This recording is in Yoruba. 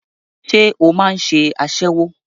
Ṣé o máà ń ṣe aṣẹ́wó?